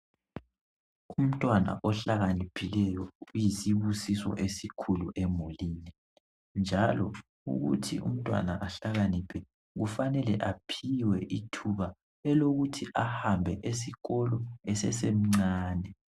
Umntwana ohlakaniphileyo uyisibusiso esikhulu emulini njalo ukuthi umntwana ahlakaniphe kufanile aphiwe ithuba elokuthi ahambe esikolo esesemncane